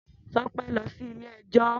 Tope lo si ile-ẹjọ.